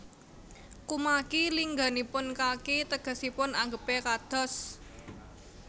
Kumaki lingganipun kaki tegesipun anggepé kados